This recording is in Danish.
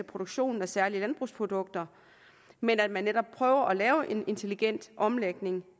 produktionen af særlige landbrugsprodukter men at man netop prøver at lave en intelligent omlægning